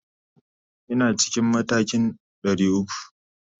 Ina cikin matakin 300.